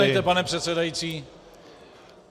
Uznejte, pane předsedající...